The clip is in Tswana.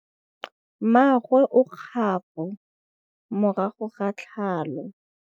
Mmagwe o kgapô morago ga tlhalô.